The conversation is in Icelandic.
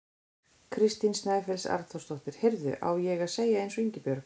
Kristín Snæfells Arnþórsdóttir: Heyrðu, á ég að segja eins og Ingibjörg?